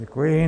Děkuji.